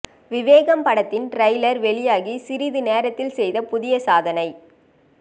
விவேகம் படத்தின் ட்ரெய்லர் வெளியாகி சிறிது நேரத்தில் செய்த புதிய சாதனை